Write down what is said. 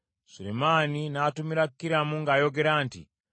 Sulemaani n’atumira Kiramu ng’ayogera nti,